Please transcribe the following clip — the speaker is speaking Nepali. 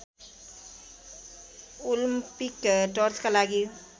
ओलम्पिक टर्चका लागि